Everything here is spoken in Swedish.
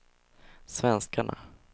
svenskarna